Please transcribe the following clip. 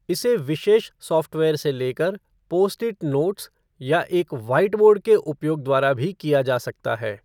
इसे विशेष सॉफ़्टवेयर से लेकर पोस्ट इट नोट्स या एक व्हाइटबोर्ड के उपयोग द्वारा भी किया जा सकता है।